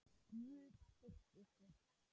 Guð styrki ykkur.